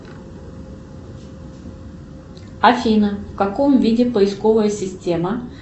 афина в каком виде поисковая система